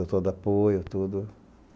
Deu todo apoio, tudo.